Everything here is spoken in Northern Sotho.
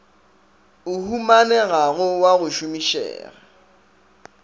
o humanegago wa go šomišega